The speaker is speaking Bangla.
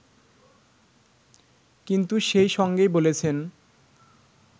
কিন্তু সেই সঙ্গেই বলেছেন